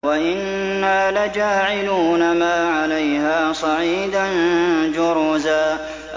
وَإِنَّا لَجَاعِلُونَ مَا عَلَيْهَا صَعِيدًا جُرُزًا